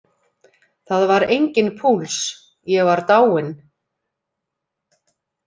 Það var enginn púls, ég var dáinn.